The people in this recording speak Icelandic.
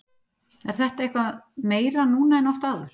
Er það eitthvað meira núna en oft áður?